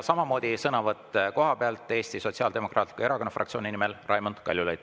Samamoodi sõnavõtt kohapealt, Eesti Sotsiaaldemokraatliku Erakonna fraktsiooni nimel Raimond Kaljulaid.